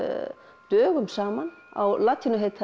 dögum saman á latínu heita þeir